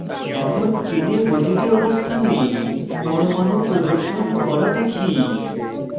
এখন চেনে প্রতিটি অবস্থানে পরমাণু প্রদর্শন করা দেখি